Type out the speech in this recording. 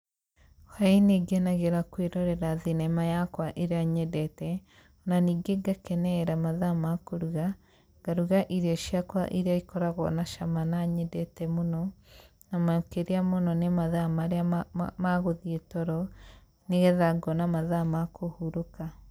Hwaĩ-inĩ ngenagĩra kwĩrorera thinema yakwa ĩrĩa nyendete, na ningĩ ngakenerera mathaa ma kũruga, ngaruga irio ciakwa iria ikoragwo na cama na nyendete mũno, na makĩria mũno nĩ mathaa marĩa ma magũthiĩ toro nĩgetha ngona mathaa ma kũhurũka.